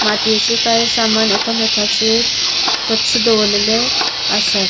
मातीयेचे काय सामान एकमेकांचेर कस दोवरलेले आसात.